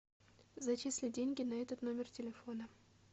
зачисли деньги на этот номер телефона